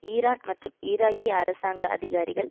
Iran மற்றும் ஈராக்கிய அரசாங்க அதிகாரிகள்